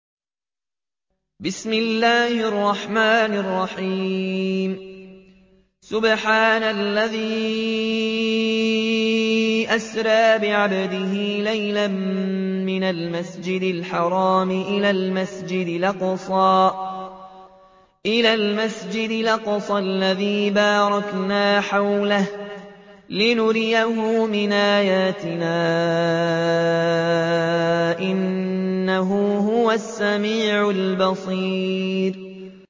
سُبْحَانَ الَّذِي أَسْرَىٰ بِعَبْدِهِ لَيْلًا مِّنَ الْمَسْجِدِ الْحَرَامِ إِلَى الْمَسْجِدِ الْأَقْصَى الَّذِي بَارَكْنَا حَوْلَهُ لِنُرِيَهُ مِنْ آيَاتِنَا ۚ إِنَّهُ هُوَ السَّمِيعُ الْبَصِيرُ